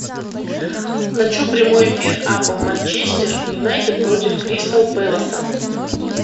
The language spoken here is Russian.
хочу прямой эфир апл манчестер юнайтед против кристал пэласа